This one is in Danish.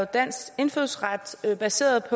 dansk indfødsret baseret